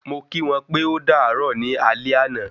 Mo kí wọ́n pé o dàárò ní alé ana